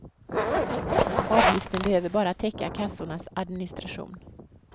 Avgiften behöver bara täcka kassornas administration.